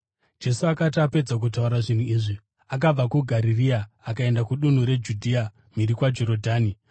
Jesu akati apedza kutaura zvinhu izvi, akabva kuGarirea akaenda kudunhu reJudhea mhiri kwaJorodhani.